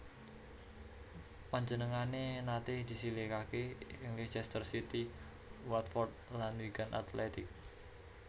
Panjenengané naté disilihaké ing Leicester City Watford lan Wigan Athletic